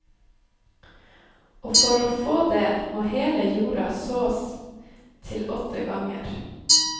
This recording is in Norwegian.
Og for å få det må hele jorda sås til åtte ganger.